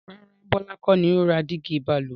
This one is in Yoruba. Rárá, Bọlá kọ́ ni ó ra dígí Balùwẹ̀